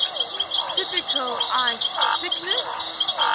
typical ice thickness